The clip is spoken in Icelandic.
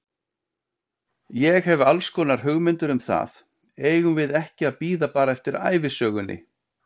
Ég hef allskonar hugmyndir um það, eigum við ekki að bíða bara eftir ævisögunni?